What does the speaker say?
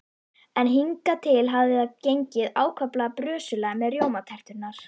En hingað til hafði það gengið ákaflega brösulega með rjómaterturnar.